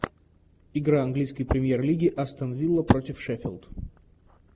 игра английской премьер лиги астон вилла против шеффилд